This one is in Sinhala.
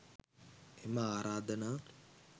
එම ආරාධනා